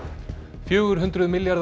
fjögur hundruð milljarðar